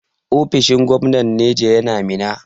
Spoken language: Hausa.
Ofishin gwamnan Naija yana Minna.